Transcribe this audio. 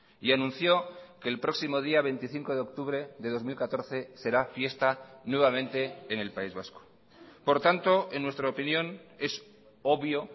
y anunció que el próximo día veinticinco de octubre de dos mil catorce será fiesta nuevamente en el país vasco por tanto en nuestra opinión es obvio